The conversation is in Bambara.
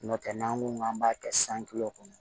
N'o tɛ n'an ko k'an b'a kɛ kɔnɔ